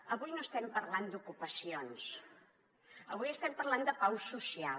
avui no estem parlant d’ocupacions avui estem parlant de pau social